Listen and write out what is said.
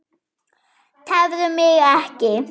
Tefðu mig ekki.